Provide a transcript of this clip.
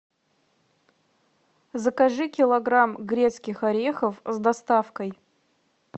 закажи килограмм грецких орехов с доставкой